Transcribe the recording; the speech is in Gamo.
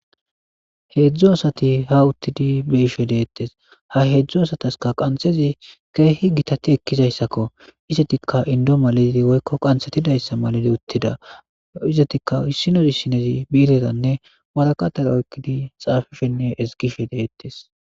heedzdzu asati ha uttidi be'ishe deettes ha heedzdzu asataska qanxezi keehi gitati ekkizayssakko izetikka indo malezi woykko qanthetidayssa maleli uttida izetikka issinozi issinozi bii'iretanne warakatera oykkidi xaafishenne ezgishe de'ettes